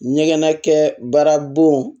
Ɲɛgɛnnakɛ baaraw